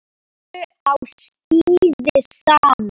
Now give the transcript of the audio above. Þau fóru á skíði saman.